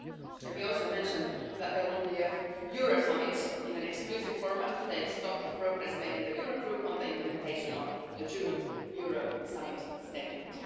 As we also mentioned, there will be a Euro Summit in an exclusive format to take stock of progress made in the Eurogroup on the implementation of the June Euro Summit statement.